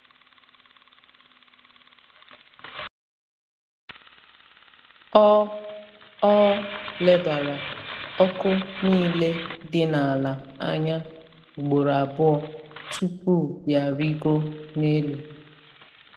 Ọ Ọ lebara ọkụ niile dị n’ala anya ugboro abụọ tupu ya arịgo n’elu.